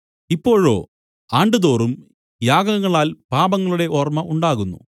ഇപ്പോഴോ ആണ്ടുതോറും യാഗങ്ങളാൽ പാപങ്ങളുടെ ഓർമ്മ ഉണ്ടാകുന്നു